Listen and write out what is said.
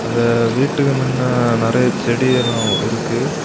அந்த வீட்டுக்கு மின்ன நெறைய செடி எல்லா இருக்கு.